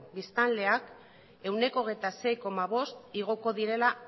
biztanleak ehuneko hogeita sei koma bosta igoko direla